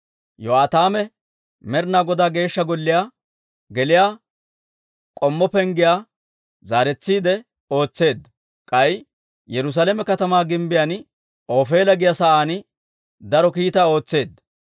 Yo'aataame Med'inaa Godaa Geeshsha Golliyaa geliyaa K'ommo Penggiyaa zaaretsiide ootseedda; k'ay Yerusaalame katamaa gimbbiyaan Ofeela giyaa sa'aan daro kiitaa ootseedda.